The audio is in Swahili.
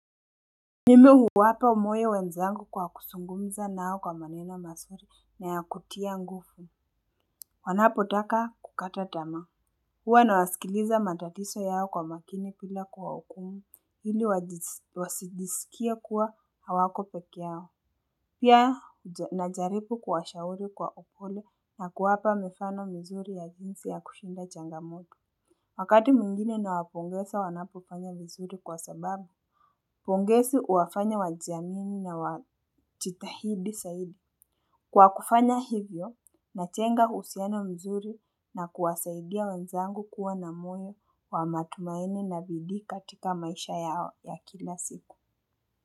Mimi huwapa moyo wenzangu kwa kuzungumza nao kwa maneno mazuri na ya kutia nguvu wanapo taka kukata tamaa huwa na wasikiliza matatizo yao kwa makini bila kuwahukumu ili wajisikie kuwa hawako pekee yao pia najaribu kuwashauri kwa upole na kuwapa mifano mizuri ya jinsi ya kushinda changamoto wakati mwingine nawapongeza wanapofanya vizuri kwa sababu pongezi huwafanya wajiamini na wajitahidi saidi. Kwa kufanya hivyo, najenga uhusiano mzuri na kuwasaidia wanzangu kuwa na moyo wa matumaini na bidii katika maisha yao ya kila siku.